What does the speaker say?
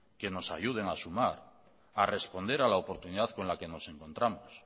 que nos ayuden a sumar a responder a la oportunidad con la que nos encontramos